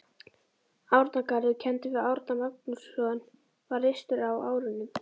Árnagarður, kenndur við Árna Magnússon, var reistur á árunum